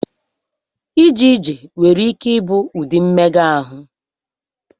Ije ije nwere ike ịbụ ụdị mmega ahụ.